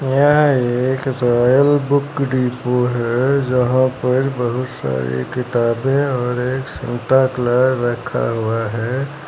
यह एक royal book depot है जहां पर बहुत सारी किताबें और एक सेंटा क्ला रखा हुआ है।